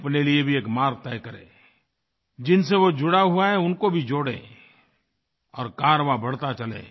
वो अपने लिए भी एक मार्ग तय करे जिनसे वो जुड़ा हुआ है उनको भी जोड़े और कारवाँ बढ़ता चले